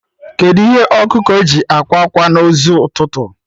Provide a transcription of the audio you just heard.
Kedụ ihe ọkụkọ ji akwa ákwà na ụzọ ụtụtụ?